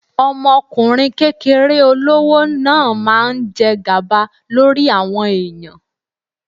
Ọmọkùnrin kékeré olówó náà máa ń jẹ gàba lórí àwọn ẹ̀yàn.